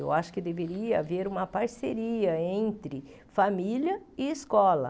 Eu acho que deveria haver uma parceria entre família e escola.